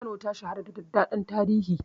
Kano ta shahara da daɗaɗɗen tarihi.